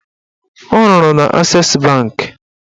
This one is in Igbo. Ọ rụrụ na Ases bankị